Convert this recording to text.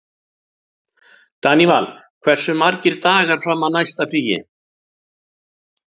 Daníval, hversu margir dagar fram að næsta fríi?